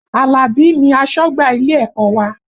Alabi ni asọ́gbà ilé ẹ̀kọ́ wa